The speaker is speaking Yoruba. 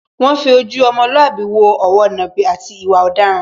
Wọ́n fi ojú ọmọlúàbí wo òwo nàbì, àti ìwà ọ̀daràn.